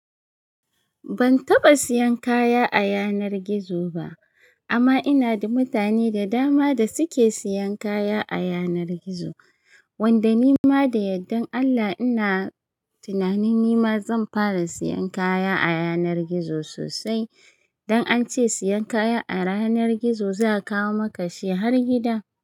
Ban taba siyan kaya a yanar gizo ba, amma ina da mutane da dama da su ke siyan kaya a yanar gizo, wanda ni ma da yaddan Allah ina tunanin nima zan fara siyan kaya a yanar gizo sosai. Dan ance siyan kaya a yanar gizo za a kawo maka shi har gida.